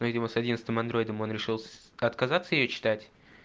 видимо с одиннадцатым андроидом он решил отказаться её читать